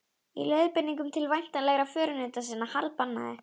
Í leiðbeiningum til væntanlegra förunauta sinna harðbannaði